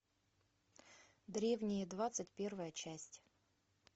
древние двадцать первая часть